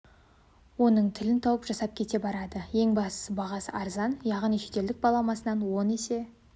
оның тілін тауып жасап кете барады ең бастысы бағасы арзан яғни шетелдік баламасынан оның есе